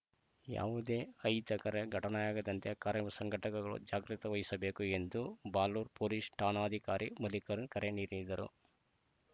ಯಾವುದೇ ಐ ತ್ತಕರೆ ಘಟನೆಯಾಗದಂತೆ ಕಾರ್ಯವು ಸಂಘಟಕರು ಜಾಗ್ರತೆ ವಹಿಸಬೇಕು ಎಂದು ಬಾಳೂರು ಪೊಲೀಸ್‌ ಠಾಣಾಧಿಕಾರಿ ಮಲ್ಲಿಕರಣ್ ಕರೆ ನೀಡಿದರು